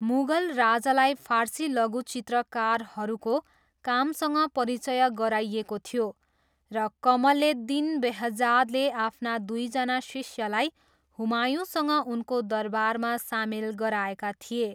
मुगल राजालाई फारसी लघुचित्रकारहरूको कामसँग परिचय गराइएको थियो र कमलेद्दिन बेहजादले आफ्ना दुईजना शिष्यलाई हुमायूँसँग उनको दरबारमा सामेल गराएका थिए।